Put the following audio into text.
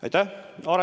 Aitäh!